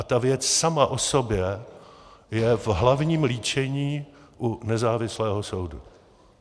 A ta věc sama o sobě je v hlavním líčení u nezávislého soudu.